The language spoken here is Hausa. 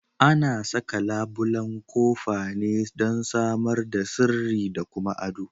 Ana saka labulan kofa ne dan samar da sirri da kuma addo.